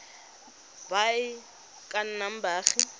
ba e ka nnang baagi